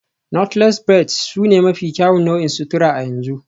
Knotless braids sune mafi kyawun nau'in sutura a yanzu